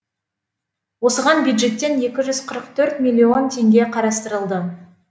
осыған бюджеттен екі жүз қырық төрт миллион теңге қарастырылды